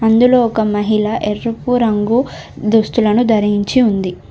అందులో ఒక మహిళ ఎరుపు రంగు దుస్తులను ధరించి ఉంది.